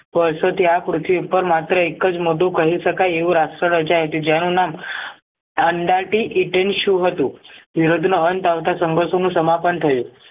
વર્ષોથી આ પૃથ્વી ઉપર માત્ર એકજ મોટું કહી શકાય એવું રાષ્ટ્ર રચાયું હતું જેનું નામ આંદારતી ઈંટેંશું હતું યુદ્ધનો અંત આવતા સમ્ભસૂનું સમાપન થયું